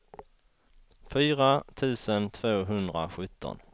fyra tusen tvåhundrasjutton